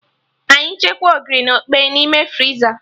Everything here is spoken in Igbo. Anyị chekwaa Ogiri na okpeyi n'ime friza